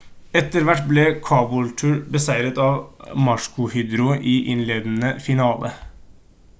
etter hvert ble caboolture beseiret av maroochydore i innledende finale